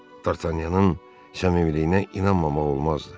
D'Artagnan'ın səmimiliyinə inanmamaq olmazdı.